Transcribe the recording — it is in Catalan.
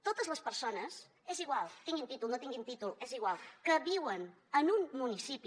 totes les persones és igual tinguin títol no tinguin títol és igual que viuen en un municipi